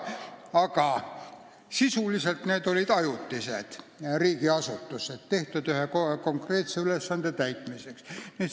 Aga sisuliselt olid need ajutised riigiasutused, mis olid loodud ühe konkreetse ülesande täitmiseks.